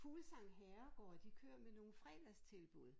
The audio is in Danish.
Fuglsang Herregaard de kører med nogle fredagstilbud